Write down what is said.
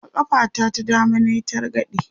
a ƙafa ta ta dama nayi targade